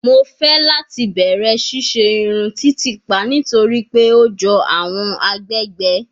Mo fẹ lati bẹrẹ ṣiṣe irun titipa nitori pe o jọ awọn agbegbe